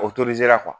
O